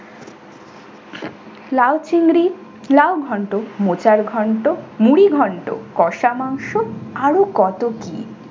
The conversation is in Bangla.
লাউ চিংড়ি লাউ ঘন্ট মোচার ঘণ্ট মুড়ি ঘন্ট কষা মাংস আরও কত কী!